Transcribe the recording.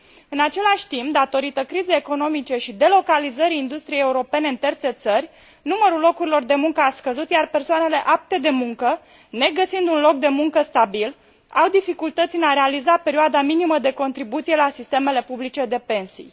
În același timp, datorită crizei economice și delocalizării industriei europene în terțe țări, numărul locurilor de muncă a scăzut, iar persoanele apte de muncă, negăsind un loc de muncă stabil, au dificultăți în a realiza perioada minimă de contribuție la sistemele publice de pensii.